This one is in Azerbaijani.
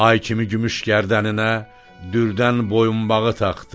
Ay kimi gümüş gərdəninə dürdən boyunbağı taxdı.